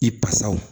I basaw